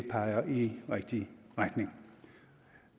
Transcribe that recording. peger i den rigtige retning